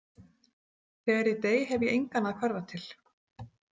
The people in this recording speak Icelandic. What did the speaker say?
þegar ég dey, hef ég engan að hverfa til.